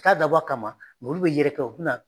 ka dabɔ a kama olu bɛ yɛrɛkɛ u tɛna